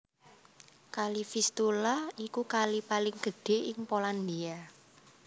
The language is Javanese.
Kali Vistula iku kali paling gedhé ing Polandia